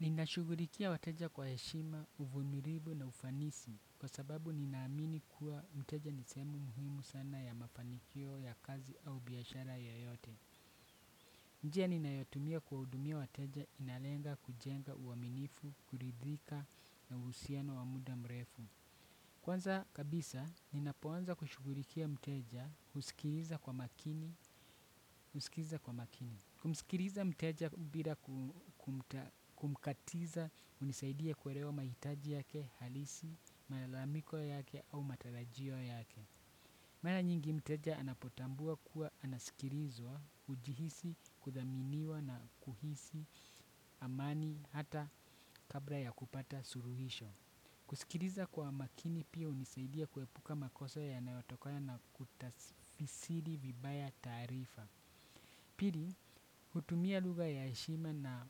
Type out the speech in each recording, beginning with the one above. Ninashugulikia wateja kwa heshima, uvumilivu na ufanisi kwa sababu ninaamini kuwa mteja nisehemu muhimu sana ya mafanikio ya kazi au biashara yoyote. Njia ninayotumia kuwahudumia wateja inalenga kujenga uaminifu, kuridhika na uhusiano wa muda mrefu. Kwanza kabisa, ninapoanza kushugurikia mteja, husikiliza kwa makini, husikiza kwa makini. Kumsikiriza mteja bila kumkatiza hunisaidia kuerewa mahitaji yake, halisi, malamiko yake au matarajio yake. Mara nyingi mteja anapotambua kuwa anasikirizwa, hujihisi, kuthaminiwa na kuhisi, amani, hata kabla ya kupata suruhisho. Kusikiriza kwa makini pia hunisaidia kuepuka makosa yanayotokana na kutasifisiri vibaya taarifa. Pili, hutumia lugha yaheshima na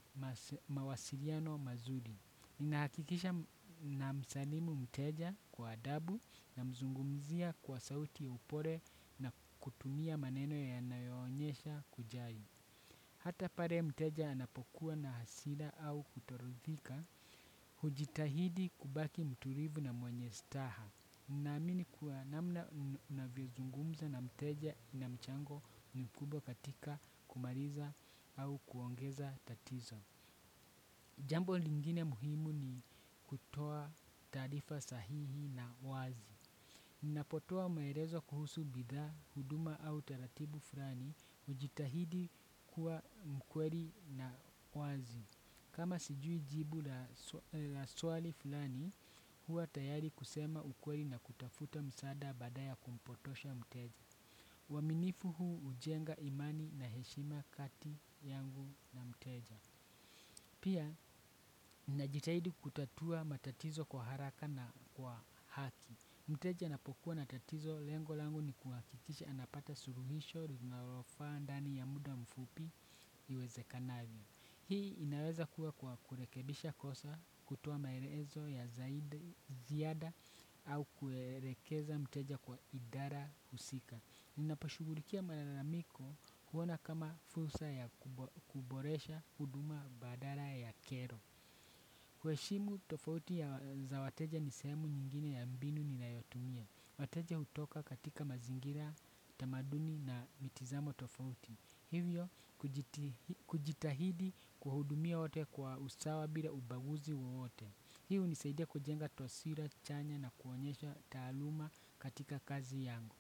mawasiliano mazuri. Inahakikisha na msalimu mteja kwa adabu na mzungumzia kwa sauti upole na kutumia maneno ya nayoonyesha kujali. Hata pare mteja anapokuwa na hasila au kutorithika, hujitahidi kubaki mturivu na mwenye staha. Naamini kuwa namna unavyozungumza na mteja ina mchango mkubwa katika kumaliza au kuongeza tatizo. Jambo lingine muhimu ni kutoa taarifa sahihi na wazi. Napotoa maerezo kuhusu bidhaa, huduma au taratibu fulani, hujitahidi kuwa mkweli na wazi. Kama sijui jibu la swali fulani, huwa tayari kusema ukweli na kutafuta msaada baada ya kumpotosha mteja. Uaminifu huu hujenga imani na heshima kati yangu na mteja. Pia, najitahidi kutatua matatizo kwa haraka na kwa haki. Mteja anapokuwa natatizo, lengolangu ni kuhakikisha anapata suruhisho rinalofa ndani ya muda mfupi iweze kanavyo. Hii inaweza kuwa kwa kurekebisha kosa kutoa maelezo ya zaidi ziada au kuerekeza mteja kwa idara husika. Ninapashugulikia mararamiko kuona kama fursa ya kuboresha huduma badala ya kero. Kuheshimu tofauti za wateja ni sehemu nyingine ya mbinu ni nayotumia. Wateja hutoka katika mazingira tamaduni na mitizamo tofauti. Hivyo, kujitahidi kuwahudumia wote kwa usawa bila ubaguzi wowote. Hii hunisaidia kujenga twasira, chanya na kuonyesha taaluma katika kazi yangu.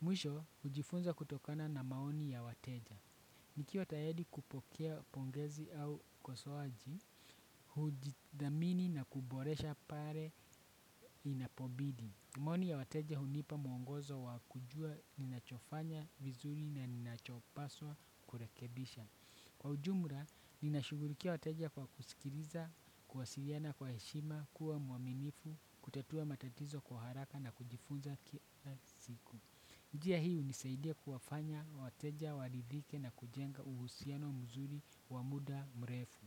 Mwisho, hujifunza kutokana na maoni ya wateja. Nikiwa tayedi kupokea pongezi au kosoaji, hujidhamini na kuboresha pare inapobidi. Maoni ya wateja hunipa mwongozo wa kujua ninachofanya vizuri na ninachopaswa kurekebisha. Kwa ujumura, ninashugurikia wateja kwa kusikiriza, kuwasiliana kwa heshima, kuwa mwaminifu, kutatua matatizo kwa haraka na kujifunza ki a siku. Njia hii hunisaidia kuwafanya wateja waridhike na kujenga uhusiano mzuri wa muda mrefu.